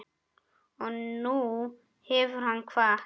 Og nú hefur hann kvatt.